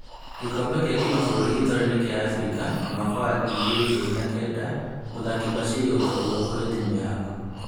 Gĩkombe gĩa kĩmabũrũri gĩtaro-inĩ kĩa Afrika mwaka wa ngiri igĩrĩ ikũmi na kenda, mũthaki Bashiri ũtorua kũrĩ timũ yaku